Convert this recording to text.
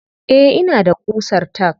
Eh ina da ƙusar tack.